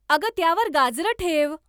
अगं त्यावर गाजरं ठेव.